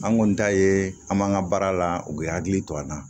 An kɔni ta ye an b'an ka baara la u bɛ hakili to an na